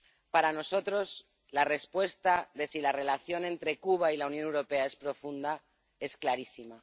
Para nosotros la respuesta a si la relación entre Cuba y la Unión Europea es profunda es clarísima.